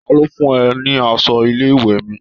Ta ló fún ẹ ní aṣọ ilé-ìwé mi?